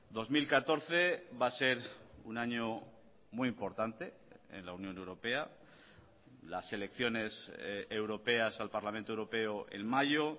dos mil catorce va a ser un año muy importante en la unión europea las elecciones europeas al parlamento europeo en mayo